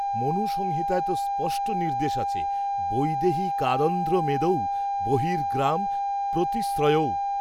মনুসংহিতায় তো স্পষ্ট নির্দেশ আছে বৈদেহিকাদন্ধ্রমেদৌ বহির্গ্রাম প্রতিশ্রয়ৌ